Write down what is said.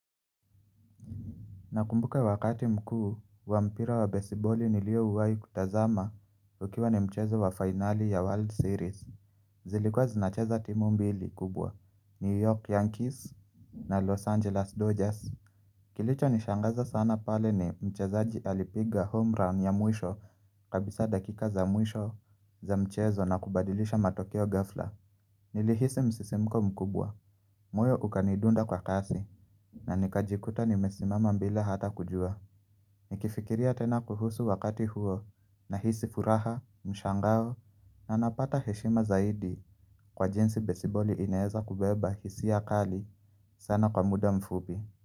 Nakumbuka wakati mkuu wa mpira wa besiboli niliowahi kutazama ukiwa ni mchezo wa finali ya World Series Zilikwa zinacheza timu mbili kubwa, New York Yankees na Los Angeles Dodgers Kilichonishangaza sana pale ni mchezaji alipiga home run ya mwisho kabisa dakika za mwisho za mchezo na kubadilisha matokeo ghafla Nilihisi msisimuko mkubwa. Moyo ukanidunda kwa kasi na nikajikuta nimesimama bila hata kujua Nikifikiria tena kuhusu wakati huo nahisi furaha, mshangao na napata heshima zaidi kwa jinsi besiboli inaweza kubeba hisia kali sana kwa muda mfupi.